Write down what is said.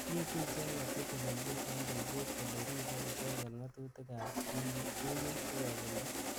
Mitei icheket cheteleljin eng ribset kole ribei icheket ngatutik ab tungwek sikosulda.